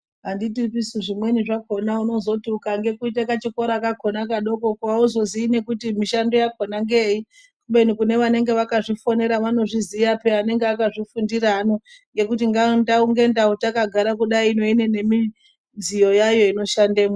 Anditipisu zvimweni zvakona unozoti ukange kuite kachikora kakona kadokoko hauzozii nekuti mishando yakona ngeyeyi kubeni kune vanenge vakazvifundira vanozviziya peya anenge akazvifundira ano ngekuti ndau ngendau takagare kudayi ino ine nemidziyo yayo ino shandemwo.